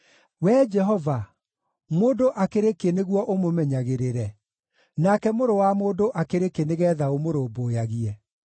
Wee Jehova, mũndũ akĩrĩ kĩ nĩguo ũmũmenyagĩrĩre, nake mũrũ wa mũndũ akĩrĩ kĩ nĩgeetha ũmũrũmbũyagie?